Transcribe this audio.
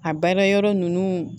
A baara yɔrɔ ninnu